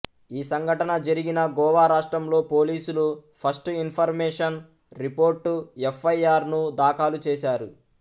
ఈ సంఘటన జరిగిన గోవా రాష్ట్రంలో పోలీసులు ఫస్ట్ ఇన్ఫర్మేషన్ రిపోర్ట్ ఎఫ్ఐఆర్ ను దాఖలు చేశారు